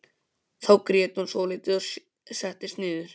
Þá grét hún svolítið og settist niður.